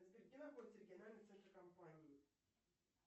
сбер где находится региональный центр компании